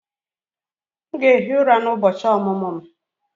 M ga-ehi ụra n'ụbọchị ọmụmụ m